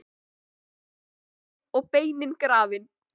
Rjúpan er uppétin og beinin grafin.